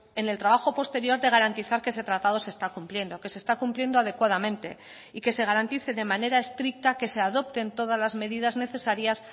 en el trabajo posterior de garantizar que ese tratado se está cumpliendo que se está cumpliendo adecuadamente y que se garantice de manera estricta que se adopten todas las medidas necesarias